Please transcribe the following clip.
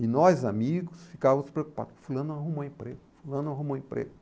E nós, amigos, ficávamos preocupados, fulano arrumou emprego, fulano arrumou emprego.